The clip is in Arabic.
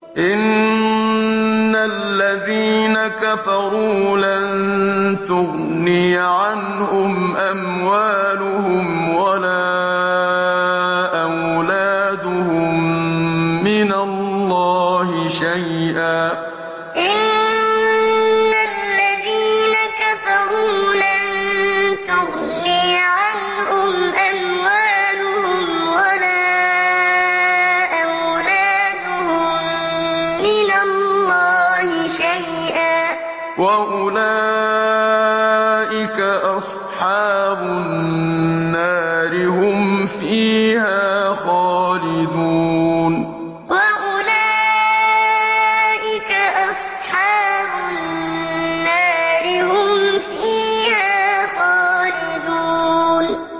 إِنَّ الَّذِينَ كَفَرُوا لَن تُغْنِيَ عَنْهُمْ أَمْوَالُهُمْ وَلَا أَوْلَادُهُم مِّنَ اللَّهِ شَيْئًا ۖ وَأُولَٰئِكَ أَصْحَابُ النَّارِ ۚ هُمْ فِيهَا خَالِدُونَ إِنَّ الَّذِينَ كَفَرُوا لَن تُغْنِيَ عَنْهُمْ أَمْوَالُهُمْ وَلَا أَوْلَادُهُم مِّنَ اللَّهِ شَيْئًا ۖ وَأُولَٰئِكَ أَصْحَابُ النَّارِ ۚ هُمْ فِيهَا خَالِدُونَ